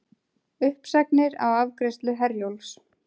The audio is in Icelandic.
Uppsagnir á afgreiðslu Herjólfs